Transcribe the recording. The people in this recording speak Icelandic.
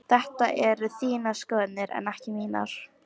Þetta eru þínar skoðanir en ekki mínar.